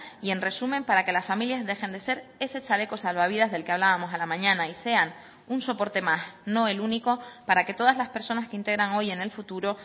y en resumen para que las familias dejen de ser ese chaleco salvavidas del que hablábamos a la mañana y sean un soporte más no el único para que todas las personas que integran hoy en el futuro